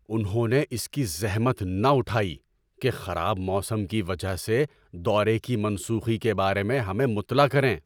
انہوں نے اس کی زحمت نہ اٹھائی کہ خراب موسم کی وجہ سے دورے کی منسوخی کے بارے میں ہمیں مطلع کریں۔